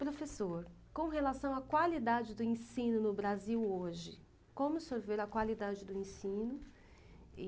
Professor, com relação à qualidade do ensino no Brasil hoje, como o senhor vê a qualidade do ensino? E